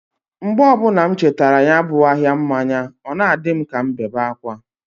Mgbe ọbuna m chetara ya bu ahia mmanya, ọ na-adi m k' ọbụ m bewe akwa.